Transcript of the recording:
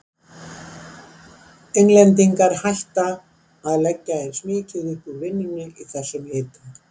Englendingar hætta að leggja eins mikið upp úr vinnusemi í þessum hita.